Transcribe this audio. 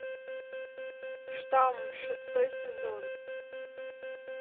штамм шестой сезон